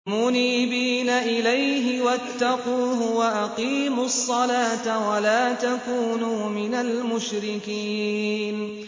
۞ مُنِيبِينَ إِلَيْهِ وَاتَّقُوهُ وَأَقِيمُوا الصَّلَاةَ وَلَا تَكُونُوا مِنَ الْمُشْرِكِينَ